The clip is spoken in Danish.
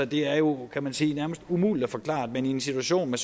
det er jo kan man sige nærmest umuligt at forklare at man i en situation med